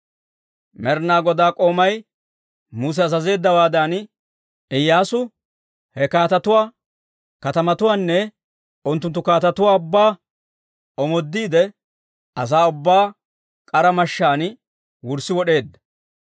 Med'ina Godaa k'oomay Muse azazeeddawaadan, Iyyaasu he kaatetuwaa katamatuwaanne unttunttu kaatetuwaa ubbaa omoodiide asaa ubbaa k'ara mashshaan wurssi wod'eedda.